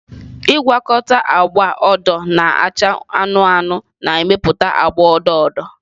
Ịgwakọta agba odo na acha anụnụ anụnụ na-emepụta agba odo odo.